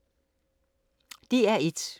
DR1